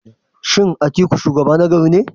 Shin Atiku shugaba ne nagari?